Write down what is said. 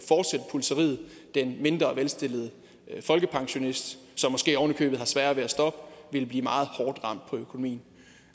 den mindre velstillede folkepensionist som måske oven i købet har sværere ved at stoppe ville blive meget hårdt ramt på økonomien